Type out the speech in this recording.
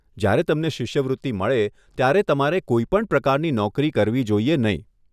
જ્યારે તમને શિષ્યવૃત્તિ મળે ત્યારે તમારે કોઈ પણ પ્રકારની નોકરી કરવી જોઈએ નહીં.